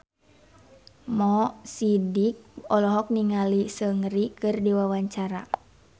Mo Sidik olohok ningali Seungri keur diwawancara